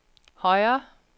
højre